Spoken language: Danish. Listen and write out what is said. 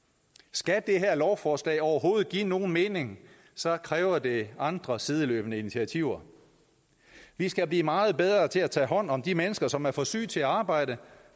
skal det her lovforslag overhovedet give nogen mening kræver det andre sideløbende initiativer vi skal blive meget bedre til at tage hånd om de mennesker som er for syge til at arbejde